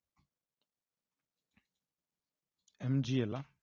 MGL எல்லாம்